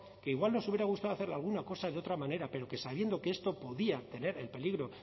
que igual nos hubiera gustado hacerle alguna cosa de otra manera pero que sabiendo que esto podía tener el peligro